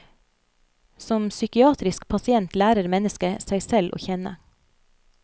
Som psykiatrisk pasient lærer mennesket seg selv å kjenne.